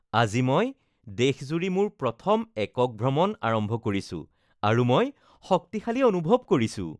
আজি মই দেশজুৰি মোৰ প্ৰথম একক ভ্ৰমণ আৰম্ভ কৰিছো আৰু মই শক্তিশালী অনুভৱ কৰিছো